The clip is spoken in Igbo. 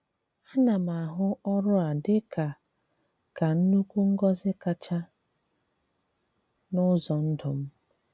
A ná m ahụ̀ ọrụ a dị kà ka nnukwu ngọ́zi kacha n’ụzọ̀ ndụ m.